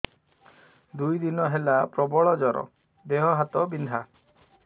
ଦୁଇ ଦିନ ହେଲା ପ୍ରବଳ ଜର ଦେହ ହାତ ବିନ୍ଧା